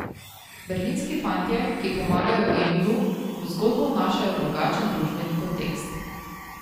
Berlinski fantje, ki pomagajo Emilu, v zgodbo vnašajo drugačen družbeni kontekst.